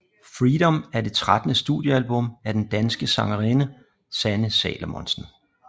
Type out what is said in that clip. Freedom er det trettende studiealbum af den danske sangerinde Sanne Salomonsen